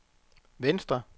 venstre